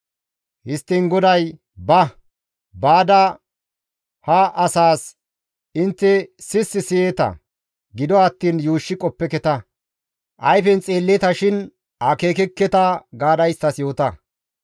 Histtiin GODAY; «Ba; baada ha asaas, ‹Intte sissi siyeeta; gido attiin yuushshi qoppeketa; ayfen xeelleeta shin akeekkeketa› gaada isttas yoota.